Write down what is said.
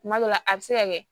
Kuma dɔ la a bɛ se ka kɛ